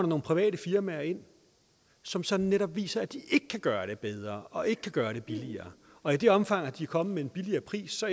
nogle private firmaer ind som som netop viser at de ikke kan gøre det bedre og ikke kan gøre det billigere og i det omfang de er kommet med en billigere pris så